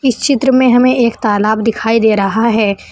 इस चित्र में हमें एक तालाब दिखाई दे रहा है।